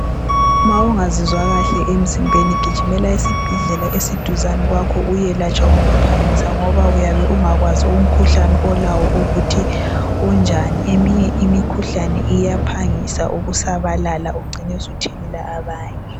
Mawungazizwa kahle emzimbeni gijimela esibhedlela esiduzane kwakho uyelatshwa ngokuphangisa ngoba uyabe ungakwazi umkhuhlane olawo ukuthi unjani eminye imikhuhlane iyaphangisa ukusabalala ugcine usuthelela abanye